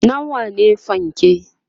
nawa ne fanke?